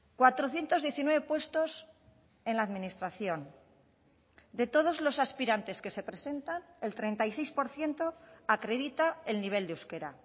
cuatrocientos diecinueve puestos en la administración de todos los aspirantes que se presentan el treinta y seis por ciento acredita el nivel de euskera